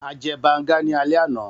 A jẹ banga ni alẹ ana